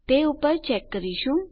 તે પર ચેક કરીશું